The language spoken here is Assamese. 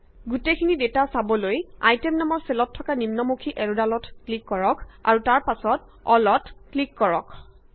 গোটেইখিনি ডেটা চাবলৈ আইটেম নামৰ চেলত থকা নিম্নমুখী এৰদালত ক্লিক কৰক আৰু তাৰ পাছত অলত ক্লিক কৰক